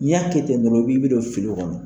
N'i y'a kɛ ten dɔnɔ i bi bi don fili kɔnɔ